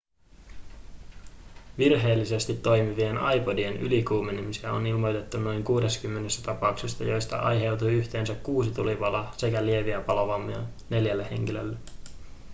virheellisesti toimivien ipodien ylikuumenemisia on ilmoitettu noin 60 tapauksessa joista aiheutui yhteensä kuusi tulipaloa sekä lieviä palovammoja neljälle henkilölle